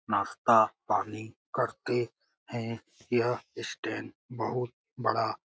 नाश्ता पानी करते है | यह स्टैंड बहुत बड़ा है ।